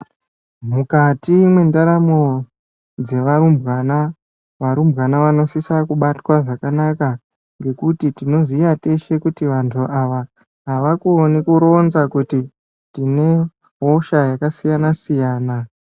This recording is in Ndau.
Mukati mendaramo dzevarumbwana, varumbwana vanosisa kubatwa zvakanaka ngekuti tinoziya teshe kuti vantu ava havakoni kuronza kuti tine hosha yakasiyana-siyana.